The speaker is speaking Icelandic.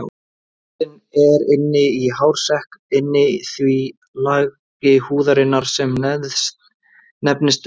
Rótin er inni í hársekk inni í því lagi húðarinnar sem nefnist leðurhúð.